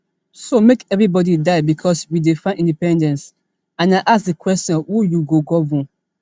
so make everybody die bicos we dey find independence and i ask di question who you go govern